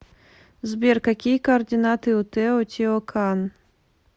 сбер какие координаты у тео тио кан